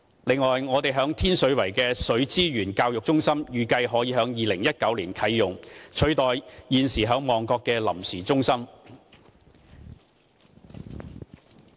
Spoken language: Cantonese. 此外，我們在天水圍的水資源教育中心預計可在2019年啟用，取代現時在旺角的臨時中心。